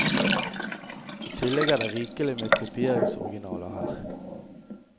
I tillegg er det rikelig med kopieringsoriginaler her.